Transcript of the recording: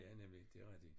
Ja nemlig det rigtigt